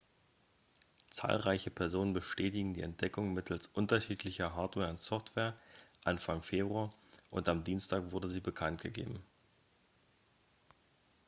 zahlreiche personen bestätigten die entdeckung mittels unterschiedlicher hardware und software anfang februar und am dienstag wurde sie bekanntgegeben